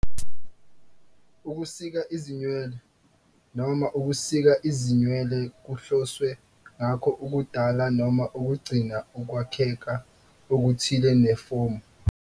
Ukusika izinwele noma ukusika izinwele kuhloswe ngakho ukudala noma ukugcina ukwakheka okuthile nefomu.